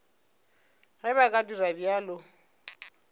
ge ba ka dira bjalo